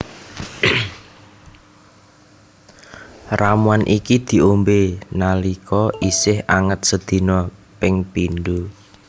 Ramuan iki diombé nalika isih anget sedina ping pindho